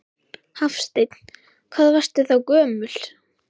Hafsteinn: Hvað varstu þá gömul?